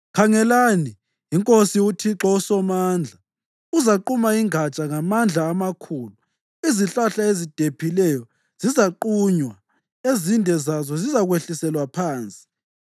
Khangelani, iNkosi, uThixo uSomandla, uzaquma ingatsha ngamandla amakhulu. Izihlahla ezidephileyo zizaqunywa. Ezinde zazo zizakwehliselwa phansi.